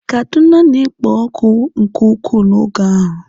Kaduna na-ekpo ọkụ nke ukwuu n'oge ahụ.